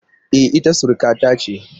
E, ita surukata ce.